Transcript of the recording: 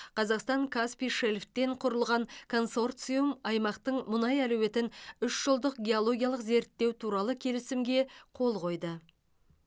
қазақстан каспий шельфтен құрылған консорциум аймақтың мұнай әлеуетін үшжылдық геологиялық зерттеу туралы келісімге қол қойды